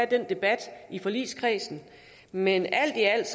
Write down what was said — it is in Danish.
den debat i forligskredsen men alt i alt